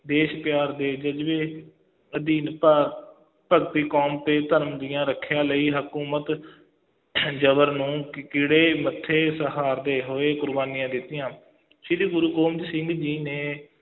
ਦੇਸ਼ ਪਿਆਰ ਦੇ ਜ਼ਜ਼ਬੇ ਅਧੀਨ ਭਾਰ~ ਭਗਤੀ ਕੌਮ ਤੇ ਧਰਮ ਦੀਆਂ ਰੱਖਿਆ ਲਈ, ਹਕੂਮਤ ਜ਼ਬਰ ਨੂੰ ਮੱਥੇ ਸਹਾਰਦੇ ਹੋਏ ਕੁਰਬਾਨੀਆਂ ਦਿੱਤੀਆਂ ਸ੍ਰੀ ਗੁਰੂ ਗੋਬਿੰਦ ਸਿੰਘ ਜੀ ਨੇ